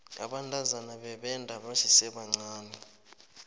abantazana bebenda basesebancani